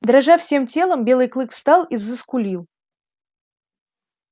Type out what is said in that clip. дрожа всем телом белый клык встал и заскулил